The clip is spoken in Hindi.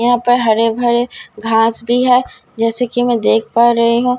यहां पर हरे भरे घास भी है जैसे कि मैं देख पा रही हूं।